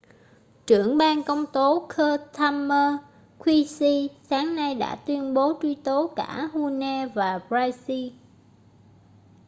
trưởng ban công tố keir starmer qc sáng nay đã tuyên bố truy tố cả huhne và pryce